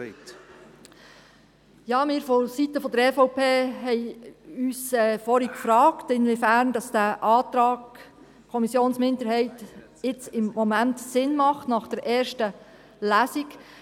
Wir vonseiten EVP haben uns vorhin gefragt, inwiefern dieser Antrag der Kommissionsminderheit jetzt im Moment Sinn macht – nach der ersten Lesung.